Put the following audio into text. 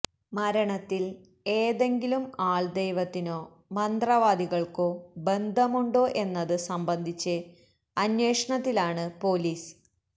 മരണത്തില് ഏതെങ്കിലും ആള്ദെവത്തിനോ മന്ത്രവാദികള്ക്കോ ബന്ധമുണ്ടോ എന്നത് സംബന്ധിച്ച് അന്വേഷണത്തിലാണ് പൊലീസ്